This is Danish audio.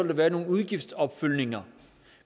der være nogle udgiftsopfølgninger